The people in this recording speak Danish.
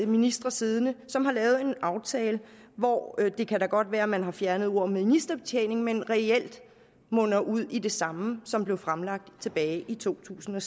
ministre siddende som har lavet en aftale hvor det da godt kan være at man har fjernet ordet ministerbetjening men som reelt munder ud i det samme som blev fremsat tilbage i to tusind og